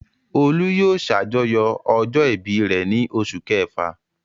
Olú yóò ṣàjọyọ̀ ọjọ́ ìbí rẹ̀ ní oṣù kẹfà.